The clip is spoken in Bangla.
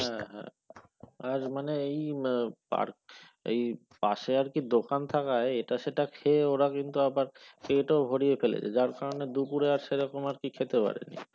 হ্যাঁ হ্যাঁ মানে এই আর এই পাশে আর কি দোকান থাকায় এটা সেটা খেয়ে ওরা কিন্তু আবার পেট ও ভরিয়ে ফেলেছে তার কারনে আবার দুপুরে আর সেরকম আর কি খেতে পারেনি।